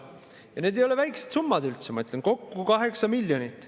Ja need ei ole üldse väikesed summad, ma ütlen, kokku 8 miljonit.